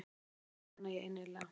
Já það vona ég innilega.